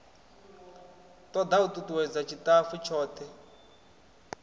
toda u tutuwedza tshitafu tshothe